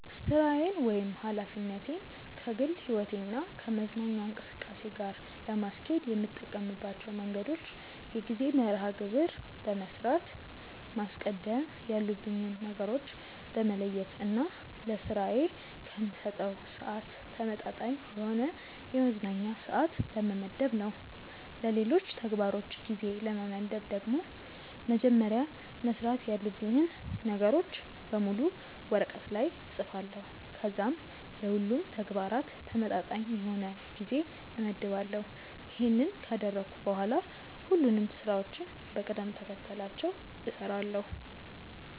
ሥራዬን ወይም ኃላፊነቴን ከግል ሕይወቴ እና ከመዝናኛ እንቅስቃሴ ጋር ለማስኬድ የምጠቀምባቸው መንገዶች የጊዜ መርሐ ግብር በመስራት፣ ማስቀደም ያሉብኝን ነገሮች በመለየት እና ለስራዬ ከምሰጠው ስዓት ተመጣጣኝ የሆነ የመዝናኛ ስዓት በመመደብ ነው። ለሌሎች ተግባሮች ጊዜ ለመመደብ ደግሞ መጀመሪያ መስራት ያሉብኝን ነገሮች በሙሉ ወረቀት ላይ እፅፋለሁ ከዚያም ለሁሉም ተግባራት ተመጣጣኝ የሆነ ጊዜ እመድባለሁ። ይሄንን ካደረግኩ በኋላ ሁሉንም ስራዎችን በቅደም ተከተላቸው እሰራለሁ።